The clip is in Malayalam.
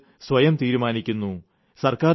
ഇവിടെ ജനങ്ങൾ സ്വയം തീരുമാനിക്കുന്നു